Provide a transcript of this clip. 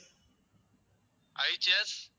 HS